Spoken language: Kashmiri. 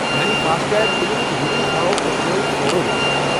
میانہِ فاسٹ ٹیگ بِلہِ ہٕنٛز ریڈنگہٕ ہاو پٔتۍمیو ژورو ریتو پٮ۪ٹھٕ۔